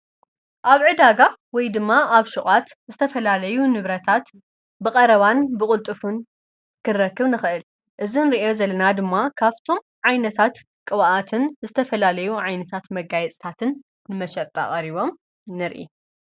ኣብ ዕዳጋ ወይ ድማ ኣብ ሹቃት ዝተፈላለዩ ንብረታት ብቐረባን ብቕልጥፉን ክንረክብ ንኽእል። እዚ ንሪኦ ዘለና ድማ ካፍቶም ዓይነታት ቕብኣትን ፣ ዝተፈላለዩ ዓይነታት መጋየጽታትን ፣ ንመሸጣ ቐሪቦም ንርኢ።